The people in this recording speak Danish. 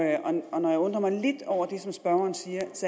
jeg undrer mig lidt over det som spørgeren siger